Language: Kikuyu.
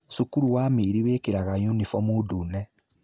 Cukuru wa Miiri wĩkĩraga unibomu ndune.